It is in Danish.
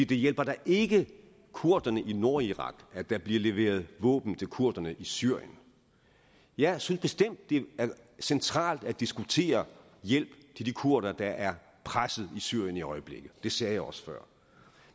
det hjælper da ikke kurderne i nordirak at der bliver leveret våben til kurderne i syrien jeg synes bestemt det er centralt at diskutere hjælp til de kurdere der er presset i syrien i øjeblikket det sagde jeg også før